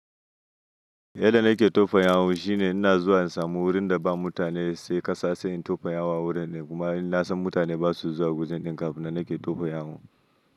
Yadda nake tofa yawu shine ina zuwa in samu wurin da ba mutane sai ƙasa sai in tofa yawu a wurin ɗin. Kuma in na san mutane ba su zuwa gurin ɗin kafin nan nake tofa yawu.